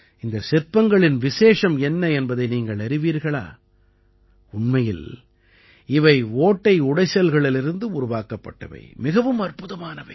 இந்தச் சிற்பங்களின் விசேஷம் என்ன என்பதை நீங்கள் அறிவீர்களா உண்மையில் இவை ஓட்டை உடைசல்களிலிருந்து உருவாக்கப்பட்டவை மிகவும் அற்புதமானவை